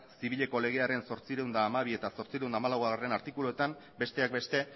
zibileko legearen zortziehun eta hamabi eta zortziehun eta hamalaugarrena artikuluetan besteak beste